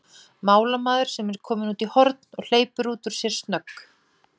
málamaður sem er kominn út í horn, og hleypir út úr sér snögg